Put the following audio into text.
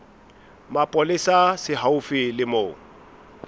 mapolesa se haufi le moo